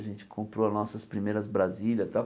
A gente comprou as nossas primeiras brasilias e tal.